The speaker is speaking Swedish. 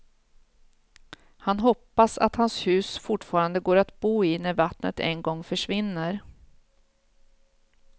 Han hoppas att hans hus fortfarande går att bo i när vattnet en gång försvinner.